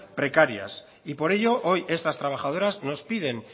precarias y por ello hoy estas trabajadoras nos piden